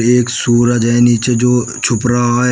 एक सूरज है नीचे जो छुप रहा है।